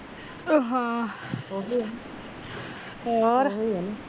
ਉਹ ਹਾਂ ਹੋਰ